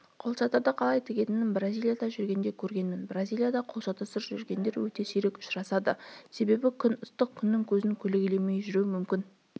қолшатырды қалай тігетінін бразилияда жүргенде көргенмін бразилияда қолшатырсыз жүретіндер өте сирек ұшырасады себебі күн ыстық күннің көзін көлегейлемей жүру мүмкін